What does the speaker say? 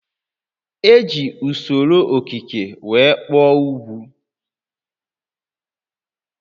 E ji usoro okike were kpụọ ugwu